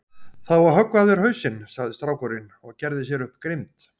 Það á að höggva af þér hausinn, sagði strákurinn og gerði sér upp grimmd.